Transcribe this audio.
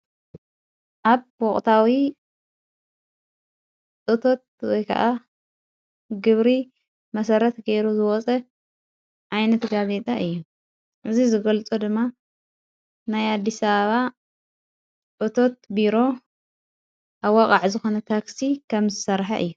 ኣብ ወቕታዊ እቶት ወይ ከዓ ግብሪ መሠረት ገይሩ ዝወፀ ኣይነቲ ጋዜጣ እየ። እዚ ዝገልፆ ድማ ናይ ኣዲስ አበባ እቶት ቢሮ ኣዋቓዕ ዝኾነ ታኽሲ ከም ዝሠርሐ እየ።